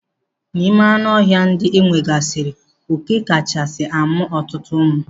N'ime anụ ọhịa ndị enwegasiri, oké kachasi amụ ọtụtụ ụmụ.